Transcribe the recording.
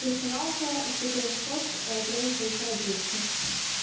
персоналка из четырёхсот тренер получает двести